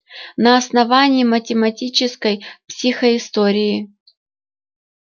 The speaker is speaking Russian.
на основании математической психоистории